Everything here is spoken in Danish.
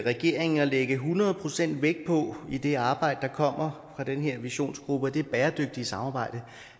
regeringen at lægge hundrede procent vægt på i det arbejde der kommer fra den her visionsgruppe og i det bæredygtige samarbejde